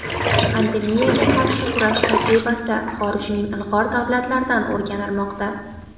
Pandemiyaga qarshi kurash tajribasi xorijning ilg‘or davlatlaridan o‘rganilmoqda.